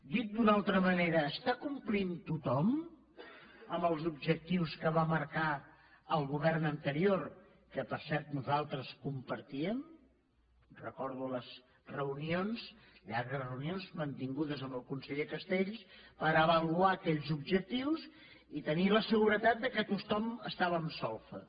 dit d’una altra manera està complint tothom amb els objectius que va marcar el govern anterior que per cert nosaltres compartíem recordo les reunions llargues reunions mantingudes amb el conseller castells per avaluar aquells objectius i tenir la seguretat que tothom estava en solfa